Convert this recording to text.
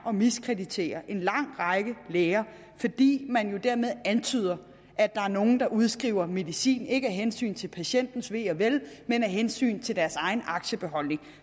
at miskreditere en lang række læger fordi man jo dermed antyder at der er nogle der udskriver medicin ikke af hensyn til patientens ve og vel men af hensyn til deres egen aktiebeholdning